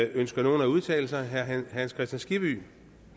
ønsker nogen at udtale sig herre hans kristian skibby